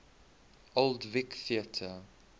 old vic theatre